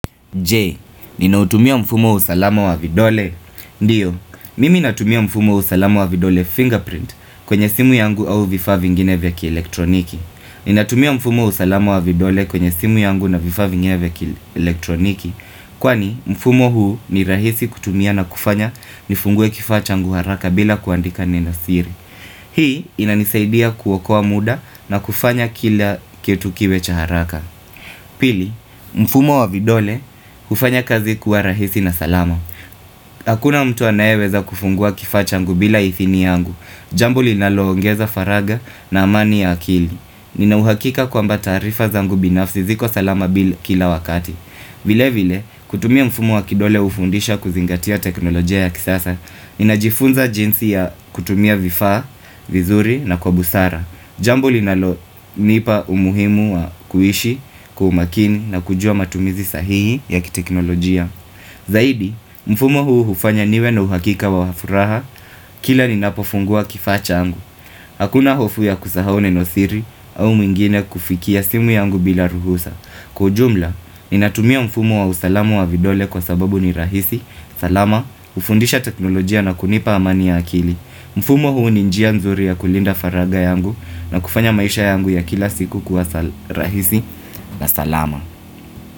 Je, ninautumia mfumo wa usalama wa vidole? Ndio, mimi natumia mfumo usalama wa vidole fingerprint kwenye simu yangu au vifaa vingine vya kielektroniki. Ninatumia mfumo wa usalama wa vidole kwenye simu yangu na vifaa vingine vya kielektroniki. Kwani, mfumo huu ni rahisi kutumia na kufanya nifungue kifachangu haraka bila kuandika nenosiri. Hii, inanisaidia kuokoa muda na kufanya kila kitu kiwe cha haraka. Pili, mfumo wa vidole hufanya kazi kuwa rahisi na salama Hakuna mtu anayeweza kufungua kifaachangu bila ithini yangu Jambo linaloongeza faragha na amani ya akili Ninauhakika kwamba tarifa zangu binafsi ziko salama kila wakati vile vile, kutumia mfumo wa kidole hufundisha kuzingatia teknolojia ya kisasa Ninajifunza jinsi ya kutumia vifa, vizuri na kwa busara Jambo linalonipa umuhimu wa kuhishi kwa umakini na kujua matumizi sahihi ya kiteknolojia Zaidi, mfumo huu hufanya niwe na uhakika wa furaha Kila ninapofungua kifacha changu Hakuna hofu ya kusahau neno siri au mwingine kufikia simu yangu bila ruhusa Kwa ujumla, ninatumia mfumo wa usalamu wa vidole kwa sababu ni rahisi salama, hufundisha teknolojia na kunipa amani ya akili mfumo huu ni njia nzuri ya kulinda faragha yangu na kufanya maisha yangu ya kila siku kuwa sala rahisi na salama.